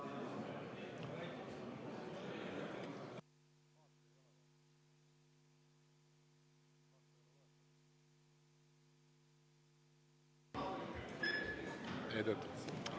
Ei tööta?